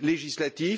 législatif,